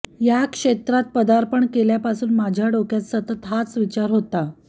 या क्षेत्रात पदार्पण केल्यापासून माझ्या डोक्यात सतत हाच विचार होता